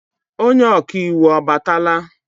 Onye ọka iwu abatala?